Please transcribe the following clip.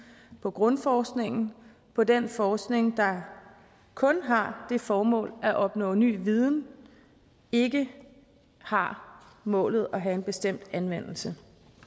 på grundforskningen på den forskning der kun har det formål at opnå ny viden og ikke har målet at have en bestemt anvendelse